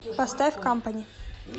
поставь кампани